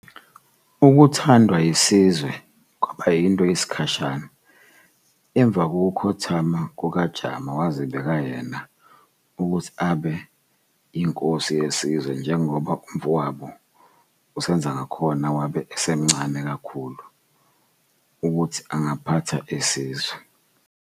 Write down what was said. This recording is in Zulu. Ukuthandawa isizwe kwaba yinto yesikhashan, emva kokukhothama kukaJama wazibeka yena ukuhti abe yinkosi yesizwe njengoba umfowabo uSenzangakhona wabe esamncane kakhulu ukuthi angaphatha isizwe.